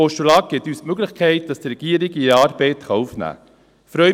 Ein Postulat gibt uns die Möglichkeit, dass die Regierung ihre Arbeit aufnehmen kann.